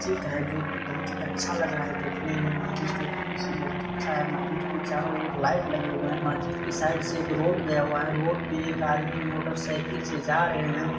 चित्र है जो की बहुत ही अच्छा लग रहा है देखने में है इसलिए बहुत अच्छा है के चारों और लाइट लगे हुए हैं मस्जिद के साइड से एक रोड गया हुआ है रोड पर एक आदमी मोटरसाइकिल से जा रहे है ।